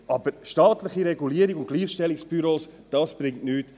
Aber staatliche Regulierung und Gleichstellungsbüros bringen nichts.